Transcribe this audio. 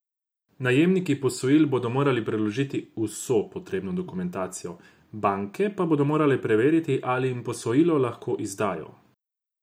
Najemniki posojil bodo morali predložiti vso potrebno dokumentacijo, banke pa bodo morale preveriti, ali jim posojilo lahko izdajo.